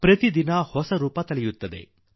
ಪ್ರತಿದಿನವೂ ಹೊಸ ರೂಪ ಪಡೆದುಕೊಳ್ಳುತ್ತದೆ